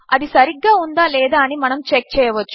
అదిసరిగ్గాఉందాలేదాఅనిమనముచెక్చేయవచ్చు